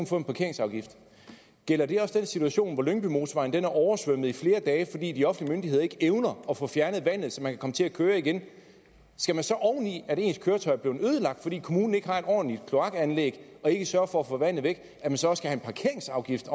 få en parkeringsafgift gælder det også i den situation hvor lyngbymotorvejen er oversvømmet i flere dage fordi de offentlige myndigheder ikke evner at få fjernet vandet så man kan komme til at køre igen skal man så oven i at ens køretøj er blevet ødelagt fordi kommunen ikke har et ordentligt kloakanlæg og ikke sørger for at få vandet væk også have en parkeringsafgift